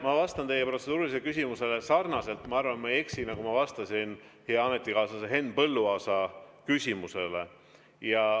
Ma vastan teie protseduurilisele küsimusele sarnaselt – ma arvan, ma ei eksi –, nagu ma vastasin hea ametikaaslase Henn Põlluaasa küsimusele.